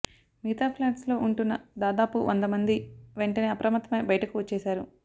మిగతా ఫ్లాట్స్ లో ఉంటున్న దాదాపు వంద మంది వెంటనే అప్రమత్తమై బయటకు వచ్చేశారు